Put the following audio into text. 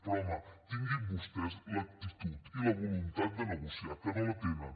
però home tinguin vostès l’actitud i la voluntat de negociar que no la tenen